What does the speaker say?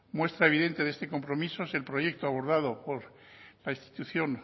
muestra evidente de este compromiso es el proyecto abordado por la institución